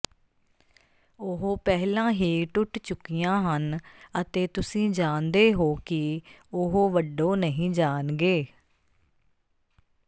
ਉਹ ਪਹਿਲਾਂ ਹੀ ਟੁੱਟ ਚੁੱਕੀਆਂ ਹਨ ਅਤੇ ਤੁਸੀਂ ਜਾਣਦੇ ਹੋ ਕਿ ਉਹ ਵੱਢੋ ਨਹੀਂ ਜਾਣਗੇ